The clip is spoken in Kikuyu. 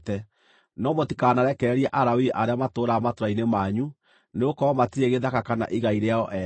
Na mũtikanarekererie Alawii arĩa matũũraga matũũra-inĩ manyu, nĩgũkorwo matirĩ gĩthaka kana igai rĩao ene.